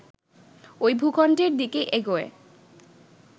ঐ ভূখণ্ডের দিকে এগোয়